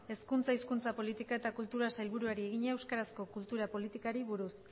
hizkuntza hezkuntza politika eta kultura sailburuari egina euskarazko kultura politikari buruz